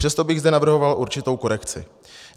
Přesto bych zde navrhoval určitou korekci.